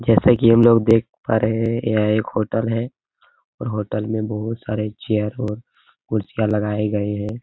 जैसा की हम लोग देख पा रहे हैं यह एक होटल है और होटल में बहोत सारे चेयर और कुर्सियां लगाए गए हैं।